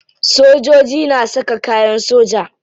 Sojoji na saka kayan soja.